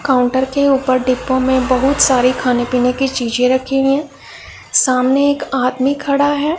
Counter के ऊपर डिब्बों में बहुत सारी खाने पीने की चीजें रखी हुई सामने एक आदमी खड़ा है।